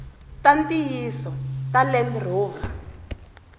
ta ntiyiso ta land rover